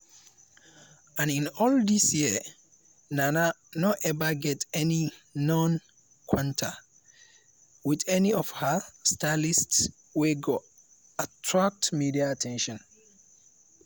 and in all these years nana no ever get any known kwanta wit any of her stylists wey go attract media at ten tion.